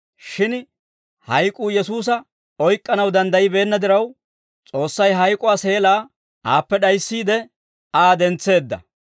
Shin hayk'uu Yesuusa oyk'k'anaw danddayibeenna diraw, S'oossay hayk'uwaa seelaa aappe d'ayissiide, Aa dentseedda.